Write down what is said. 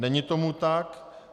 Není tomu tak.